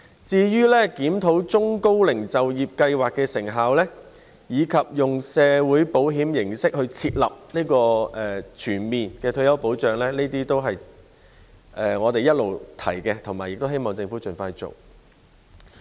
至於檢討中高齡就業計劃的成效，以及以社會保險形式設立全面退休保障制度，這些都是我們一直提倡並希望政府盡快做的事。